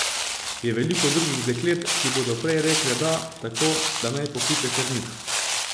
Je veliko drugih deklet, ki bodo prej rekle da, tako, da naj pokliče kar njih.